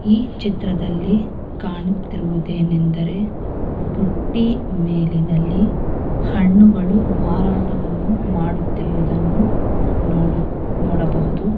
ಈ ಚಿತ್ರದಲ್ಲಿ ಕಾಣುತ್ತಿರುವುದು ಏನೆಂದ್ರೆ ಬುಟ್ಟಿ ಮೇಲಿನಲ್ಲಿ ಹಣ್ಣುಗಳು ಮಾರಾಟವನ್ನು ಮಾಡುತ್ತಿರುವದನ್ನು ನೋಡ ನೋಡಬಹುದು.